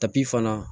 fana